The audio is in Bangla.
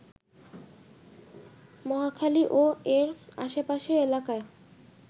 মহাখালী ও এর আশপাশের এলাকায়